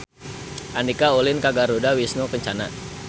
Andika ulin ka Garuda Wisnu Kencana